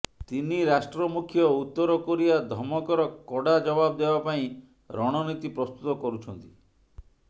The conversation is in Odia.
ତିନି ରାଷ୍ଟ୍ର ମୁଖ୍ୟ ଉତ୍ତର କୋରିଆ ଧମକର କଡ଼ା ଜବାବ ଦେବାପାଇଁ ରଣନୀତି ପ୍ରସ୍ତୁତ କରୁଛନ୍ତି